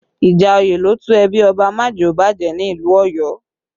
Ìjà òye ló tú ẹbí Ọba Majeobaje ni ìlú Ọ̀yọ́